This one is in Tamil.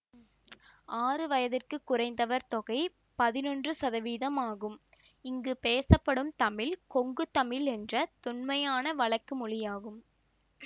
ஆறு வயதிற்குக் குறைந்தவர் தொகை பதினொன்று சதவீதம் ஆகும் இங்கு பேசப்படும் தமிழ் கொங்குதமிழ் என்ற தொன்மையான வழக்கு மொழியாகும்